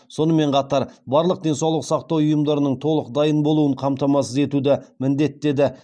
сонымен қатар барлық денсаулық сақтау ұйымдарының толық дайын болуын қамтамасыз етуді міндеттеді